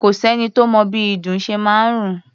Kò sẹ́ni tó mọ bí ìdun ṣe máa ń rùn.